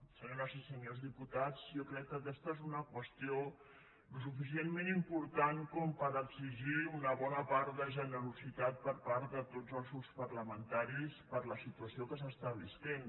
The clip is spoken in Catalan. senyores i senyors diputats jo crec que aquesta és una qüestió suficientment important per exigir una bona part de generositat per part de tots els grups parlamentaris per la situació que es viu